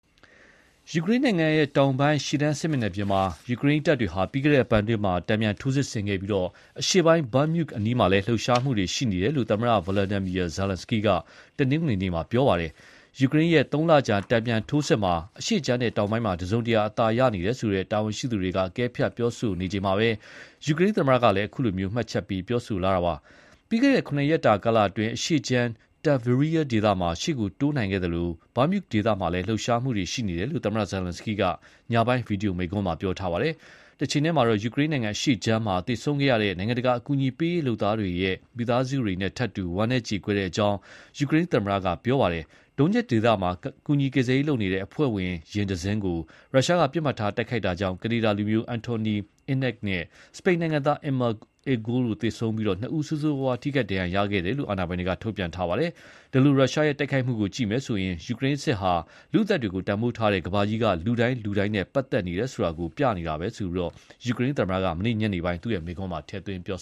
ယူကရိန်းနိုင်ငံတောင်ပိုင်း ရှေ့တန်းစစ်မျက်နှာပြင်မှာ ယူကရိန်းတပ်တွေက ပြီးခဲ့တဲ့အပတ်အတွင်း တန်ပြန်ထိုးစစ်ဆင်ခဲ့ပြီး အရှေ့ပိုင်း Bakhmut အနီးမှာလည်း လှုပ်ရှားမှုတွေ ရှိနေတယ်လို့ သမ္မတ Volodymyr Zelenskyy က တနင်္ဂနွေနေ့က ပြောပါတယ်။ ယူကရိန်းရဲ့ သုံးလကြာ တန်ပြန်ထိုးစစ်မှာ အရှေ့ခြမ်းနဲ့ တောင်ပိုင်းမှာ တစုံတရာ အသာနေရတယ်ဆိုတဲ့ တာဝန်ရှိသူတွေက အကဲဖြတ်ပြောဆိုနေချိန်မှာပဲ ယူကရိန်းသမ္မတကလည်း အခုလို မှတ်ချက်ပေးပြောဆိုလာတာပါ။ ပြီးခဲ့တဲ့ ၇ ရက်တာကာလအတွင်း အရှေ့ခြမ်း Tavria ဒေသမှာ ရှေ့ကိုတိုးနိုင်ခဲ့သလို Bakhut ဒေသမှာလည်း လှုပ်ရှားမှုတွေရှိနေတယ်လို့ သမ္မတ Zelenskyy က ညပိုင်း ဗွီဒီယိုမိန့်ခွန်းမှာ ပြောထားပါတယ်။ တချိန်တည်းမှာတော့ ယူကရိန်းနိုင်ငံအရှေ့ခြမ်းမှာ သေဆုံးခဲ့ရတဲ့ နိုင်ငံတကာအကူအညီပေးရေးလုပ်သားတွေရဲ့မိသားစုတွေနဲ့ထပ်တူ ဝမ်းနည်းကြေကွဲကြောင်း ယူကရိန်းသမ္မတ Volodymyr Zelenskyy က ပြောပါတယ်။ Donetsk ဒေသမှာ ကူညီကယ်ဆယ်ရေးအဖွဲ့ယာဉ်တစင်းကို ရုရှားက ပစ်မှတ်ထားတိုက်ခိုက်တာကြောင့် ကနေဒါလူမျိုး Anthony Ihnat နဲ့ စပိန်နိုင်ငံသား Emma Igual တို့ သေဆုံးပြီး ဆိုးဆိုးဝါးဝါး ထိခိုက်ဒဏ်ရာရသူ နှစ်ဦးရှိခဲ့တယ်လို့ အာဏာပိုင်တွေက ထုတ်ပြန်ခဲ့ပါတယ်။ ဒီလို ရုရှားရဲ့တိုက်ခိုက်မှုကိုကြည့်မယ်ဆိုရင် ယူကရိန်းစစ်ဟာ လူ့အသက်တွေကို တန်ဖိုးထားတဲ့ ကမ္ဘာကြီးက လူတိုင်း လူတိုင်းနဲ့ ပတ်သက်နေတယ်ဆိုတာကို ပြနေတာပဲလို့ ယူကရိန်းသမ္မတက မနေ့ညနေပိုင်း သူ့မိန့်ခွန်းမှာ ထည့်သွင်းပြော